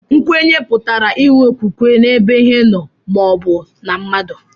Nkwenye pụtara inwe okwukwe n'ebe Ihe nó ma o bu na mmadu